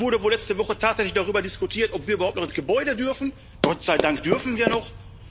Es wurde vorletzte Woche tatsächlich darüber diskutiert, ob wir überhaupt noch in das Gebäude dürfen Gott sei Dank dürfen wir noch.